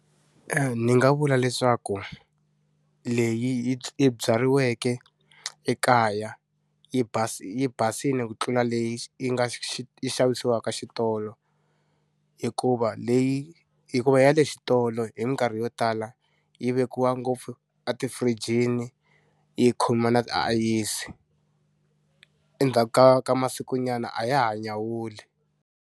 ni nga vula leswaku leyi yi byariweke ekaya yi basi yi basile ku tlula leyi yi yi nga yi xavisiwaka xitolo. Hikuva leyi hikuva ya le xitolo hi mikarhi yo tala yi vekiwa ngopfu atifirijini, yi khoma na tiayisi. Endzhaku ka ka masiku nyana a ya ha nyawuli.